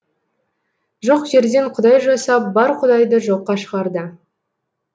жоқ жерден құдай жасап бар құдайды жоққа шығарды